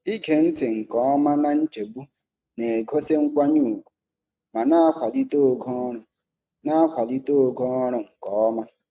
Ige ntị nke ọma na nchegbu na-egosi nkwanye ùgwù ma na-akwalite ogo ọrụ na-akwalite ogo ọrụ nke ọma.